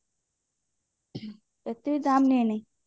ଏତେବି ଦାମ ନିଏନି